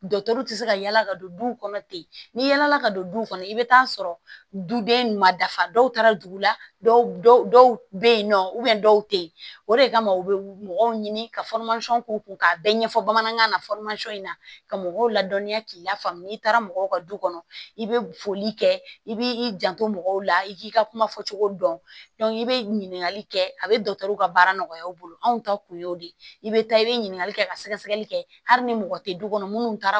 tɛ se ka yala ka don du kɔnɔ ten ni yaala ka don du kɔnɔ i bɛ taa sɔrɔ duden ma dafa dɔw taara dugu la dɔw dɔw bɛ yen nɔ dɔw tɛ yen o de kama u bɛ mɔgɔw ɲini ka k'u kun k'a bɛɛ ɲɛfɔ bamanankan na in na ka mɔgɔw ladɔniya k'i lafaamu n'i taara mɔgɔw ka du kɔnɔ i be foli kɛ i b'i janto mɔgɔw la i k'i ka kuma fɔcogo dɔn i bɛ ɲininkali kɛ a bɛ dɔ ka baara nɔgɔya aw bolo anw ta kun y'o de ye i bɛ taa i bɛ ɲininkali kɛ ka sɛgɛsɛgɛli kɛ hali ni mɔgɔ tɛ du kɔnɔ minnu taara